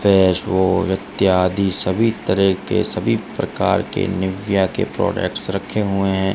Face wash इत्यादि सभी तरह के सभी प्रकार के नविया के प्रोडक्ट्स रखे हुए है।